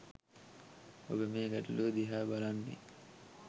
ඔබ මේ ගැටලුව දිහා බලන්නේ